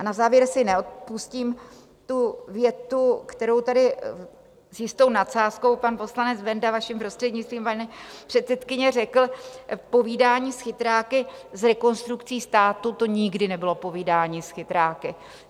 A na závěr si neodpustím tu větu, kterou tady s jistou nadsázkou pan poslanec Benda, vaším prostřednictvím, paní předsedkyně, řekl: Povídání s chytráky z Rekonstrukcí státu - to nikdy nebylo povídání s chytráky.